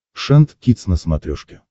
шант кидс на смотрешке